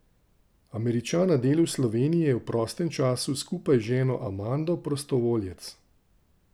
Američan na delu v Sloveniji je v prostem času skupaj z ženo Amando prostovoljec.